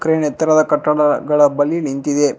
Crane ಎತ್ತರದ ಕಟ್ಟಡಗಳ ಬಳಿ ನಿಂತಿದೆ.